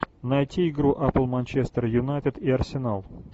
найти игру апл манчестер юнайтед и арсенал